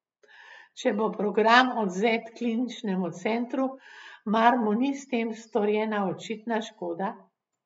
Če bo program odvzet Kliničnemu centru, mar mu ni s tem storjena očitna škoda?